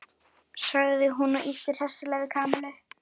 sagði hún og ýtti hressilega við Kamillu.